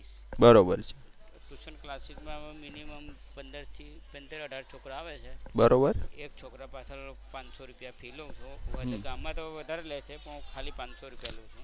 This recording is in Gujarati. tution classes માં minimum પંદર થી સતર અઢાર છોકરા આવે છે. એક છોકરા પાછળ પાંચ સો રૂપિયા ફી લવ છું. ગામમાં તો વધારે લે છે પણ હું ખાલી પાંચ સો રૂપિયા લવ છું. બરોબર.